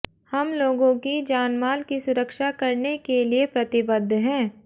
हम लोगों की जानमाल की सुरक्षा करने के लिए प्रतिबद्ध हैं